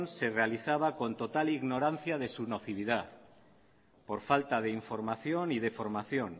se realizaba con total ignorancia de su nocividad por falta de información y de formación